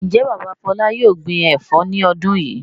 Ǹjẹ́ bàbá Fọlá yóò gbin ẹ̀fọ́ ní ọdún yìí?